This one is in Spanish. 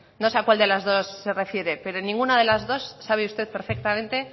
no sé a cuál de las dos se refiere pero ninguna de las dos sabe usted perfectamente